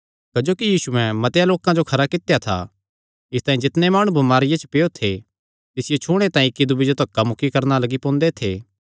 क्जोकि यीशुयैं मतेआं लोकां जो खरा कित्या था इसतांई जितणे माणु बमारिया च पैयो थे तिसियो छूणे तांई इक्की दूये जो धक्का मुक्की करणा लग्गी पोंदे थे